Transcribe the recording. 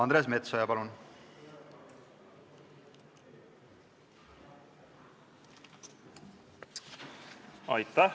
Andres Metsoja, palun!